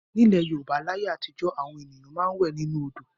Nílẹ̀ Yorùbá láyé àtijọ́ àwọn ènìyàn máa ń wẹ̀ nínú odò.